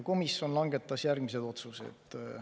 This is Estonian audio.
Komisjon langetas järgmised otsused.